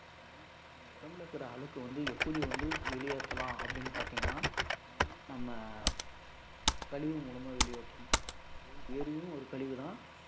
நம்ம உடம்புல இருக்கிற அழுக்கு வந்து எப்படி வந்து வெளியேத்தலாம் அப்படின்னு பார்த்தீங்கன்னா ஹம் நம்ம கழிவு மூலமா வெளியேற்றணும், ஹம் வேர்வையும் ஒரு கழிவுதான்.